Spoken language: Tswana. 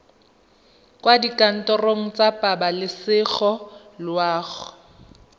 kwa dikantorong tsa pabalesego loago